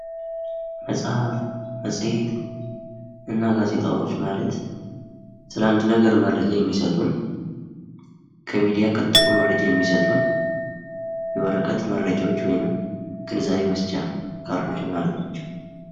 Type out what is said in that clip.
መጽሐፍ፥ መጽሄት እና ጋዜጣዎች ማለት ስለ አንድ ነገር መረጃ የሚሰጡን ከሚዲያ ቀጥሎ መረጃ የሚሰጡን የወረቀት መረጃዎች ወይም ግንዛቤ መስጫ ካርዶች ማለት ናቸው።